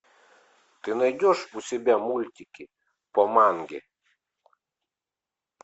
ты найдешь у себя мультики по манге